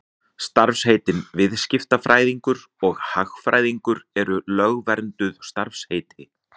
Starfsheitin viðskiptafræðingur og hagfræðingur eru lögvernduð starfsheiti.